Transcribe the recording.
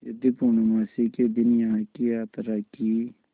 यदि पूर्णमासी के दिन यहाँ की यात्रा की